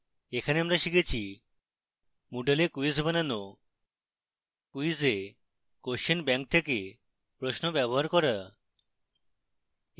এখানে আমরা শিখেছি :